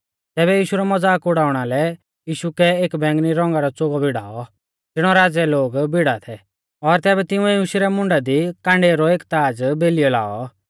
तैबै यीशु रौ मज़ाक उड़ाउणा लै यीशु कै एक बैंगनी रौंगा रौ च़ोगौ भिड़ाऔ ज़िणौ राज़ै लोग भीड़ा थै और तिंउऐ यीशु रै मुंडा दी काँडेऊ रौ एक ताज़ बेलियौ लाऔ